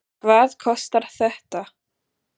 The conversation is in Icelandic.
Hvað kostar þetta?